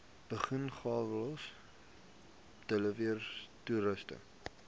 bungalows diverse toerusting